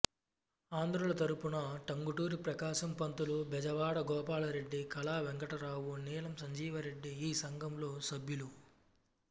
ఆంధ్రుల తరపున టంగుటూరి ప్రకాశం పంతులు బెజవాడ గోపాలరెడ్డి కళా వెంకటరావు నీలం సంజీవరెడ్డి ఈ సంఘంలో సభ్యులు